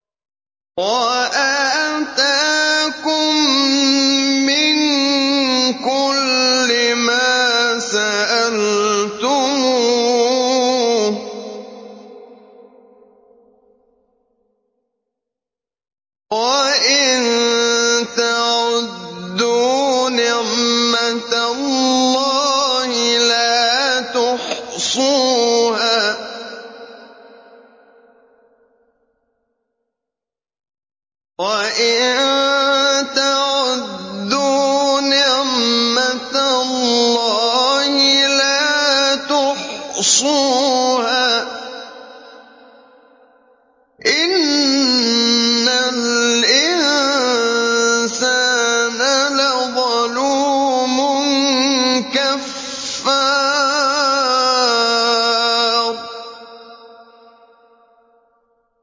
وَآتَاكُم مِّن كُلِّ مَا سَأَلْتُمُوهُ ۚ وَإِن تَعُدُّوا نِعْمَتَ اللَّهِ لَا تُحْصُوهَا ۗ إِنَّ الْإِنسَانَ لَظَلُومٌ كَفَّارٌ